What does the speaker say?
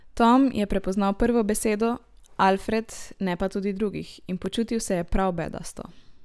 Tom je prepoznal prvo besedo, Alfred, ne pa tudi drugih, in počutil se je prav bedasto.